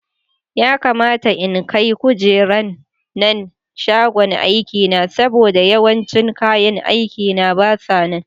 Ya kamata in kai kujeran nan shagon aikina saboda yawancin kayan aikina basa nan.